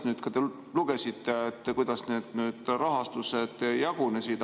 Te lugesite, kuidas need rahastused jagunesid.